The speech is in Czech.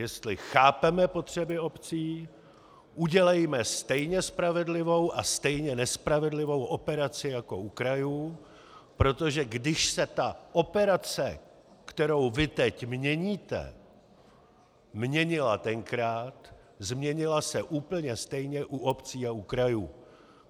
Jestli chápeme potřeby obcí, udělejme stejně spravedlivou a stejně nespravedlivou operaci jako u krajů, protože když se ta operace, kterou vy teď měníte, měnila tenkrát, změnila se úplně stejně u obcí a u krajů.